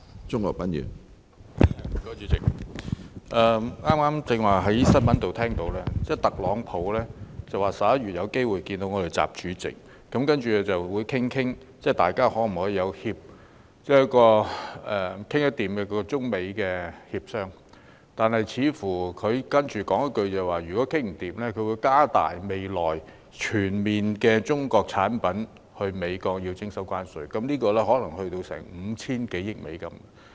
主席，我剛才從新聞報道得悉，特朗普表示有機會在今年11月與習主席會面，商討可否進行中美協商，但他接着說，如果談不攏，就會在未來對進口美國的中國產品全面徵收關稅，涉及的金額可能高達 5,000 多億美元。